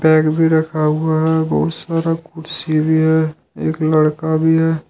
Bed भी रखा हुआ है बहुत सारा कुर्सी भी है एक लड़का भी है।